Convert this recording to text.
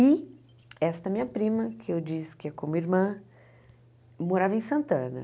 E esta minha prima, que eu disse que é como irmã, morava em Santana.